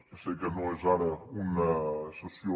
ja sé que no és ara una sessió